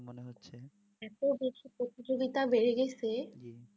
এত দেশে প্রতিযোগিতা বেড়ে গেছে